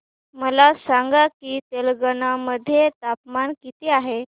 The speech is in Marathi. मला सांगा की तेलंगाणा मध्ये तापमान किती आहे